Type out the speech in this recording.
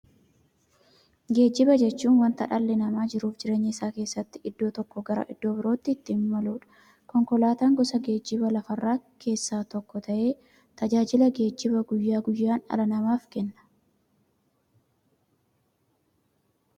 Geejjiba jechuun wanta dhalli namaa jiruuf jireenya isaa keessatti iddoo tokkoo gara iddoo birootti ittiin imaluudha. Konkolaatan gosa geejjibaa lafarraa keessaa tokko ta'ee, tajaajila geejjibaa guyyaa guyyaan dhala namaaf kenna.